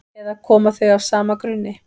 eða koma þau af sama grunni